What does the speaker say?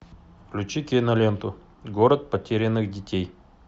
включи киноленту город потерянных детей